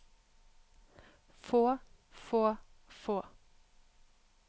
få få få